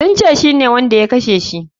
Sun ce shine wanda ya kashe shi.